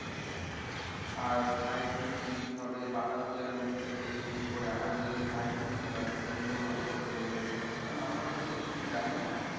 আর sightseeing কি কি হবে বাতাসিয়া লুপ থেকে শুরু করে আর ও যে যে sightseeing গুলো আছে সেগুলো ও ভালো করে বলে দিতে পারবে কারণ আমরা ও সব কিছু জানিনা।